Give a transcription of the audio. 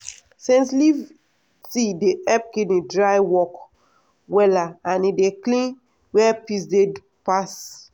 scent leaf tea dey help kidney dry work wella and e dey clean where piss dey pass.